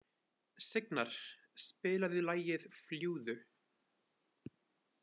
Signar, spilaðu lagið „Fljúgðu“.